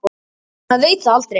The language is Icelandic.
Maður veit það aldrei.